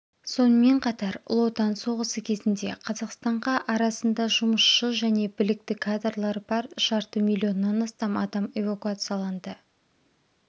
сонымен қатар ұлы отан соғысы кезінде қазақстанға арасында жұмысшы және білікті кадрлар бар жарты миллионнан астам адам эвакуацияланды